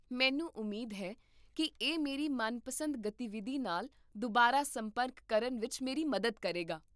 ਮੈਨੂੰ ਉਮੀਦ ਹੈ ਕੀ ਇਹ ਮੇਰੀ ਮਨਪਸੰਦ ਗਤੀਵਿਧੀ ਨਾਲ ਦੁਬਾਰਾ ਸੰਪਰਕ ਕਰਨ ਵਿੱਚ ਮੇਰੀ ਮਦਦ ਕਰੇਗਾ